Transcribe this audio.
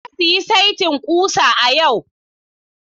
Na sayi saitin ƙusa a yau.